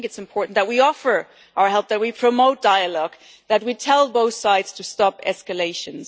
I think it is important that we offer our help, that we promote dialogue, that we tell both sides to stop escalations.